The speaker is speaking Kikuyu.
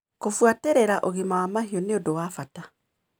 Kũbuatĩrĩra ũgima wa mahiũ nĩ ũndũ wa bata.